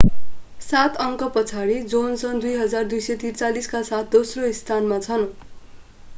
सात अङ्कपछाडि जोनसन 2,243 का साथ दोस्रो स्थानमा छन्